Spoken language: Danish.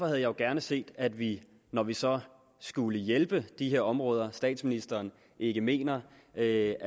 jeg jo gerne set at vi når vi så skulle hjælpe de her områder statsministeren ikke mener er